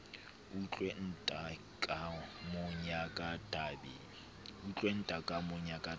utlwe ntlhakemo ya ka tabeng